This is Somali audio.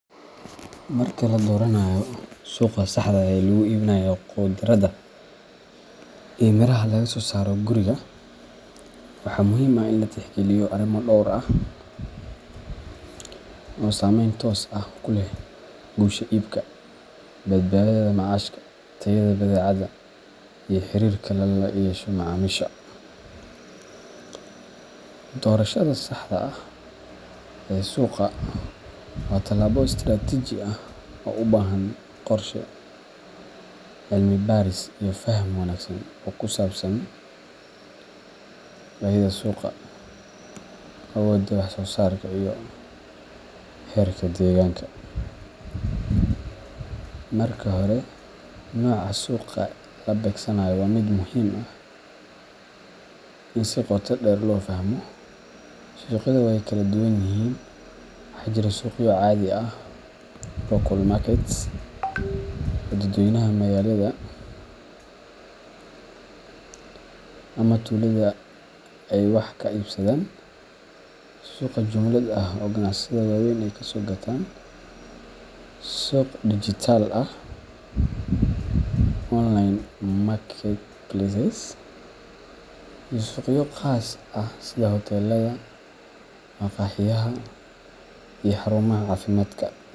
Marka la dooranayo suuqa saxda ah ee lagu iibinayo khudradda iyo miraha laga soo saaro guriga, waxaa muhiim ah in la tixgeliyo arrimo dhowr ah oo saameyn toos ah ku leh guusha iibka, badbaadada macaashka, tayada badeecada, iyo xiriirka lala yeesho macaamiisha. Doorashada saxda ah ee suuqa waa tallaabo istiraatiiji ah oo u baahan qorshe, cilmi-baaris iyo faham wanaagsan oo ku saabsan baahida suuqa, awoodda wax-soosaarka, iyo xeerarka deegaanka. Marka hore, nooca suuqa la beegsanayo waa mid muhiim ah in si qoto dheer loo fahmo. Suuqyada way kala duwan yihiin: waxaa jira suuqyo caadi ah local markets oo dadweynaha magaalada ama tuulada ay wax ka iibsadaan, suuqyo jumlad ah oo ganacsatada waaweyn ay kasoo gataan, suuqyo dijitaal ah online marketplaces, iyo suuqyo khaas ah sida hoteelada, maqaaxiyaha iyo xarumaha caafimaadka.